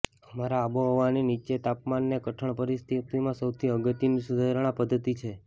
અમારા આબોહવાની નીચા તાપમાને કઠણ પરિસ્થિતિમાં સૌથી અગત્યનું સુધારણા પદ્ધતિ છે